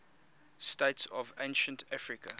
states of ancient africa